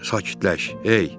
Sakitləş, hey!